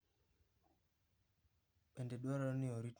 Bende dwarore ni orit maber kar kanokich.